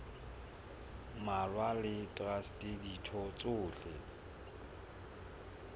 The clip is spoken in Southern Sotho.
mmalwa le traste ditho tsohle